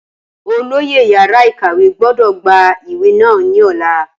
Olóyè yàrá ìkàwé gbọ́dọ̀ gba ìwé náà ní ọ̀la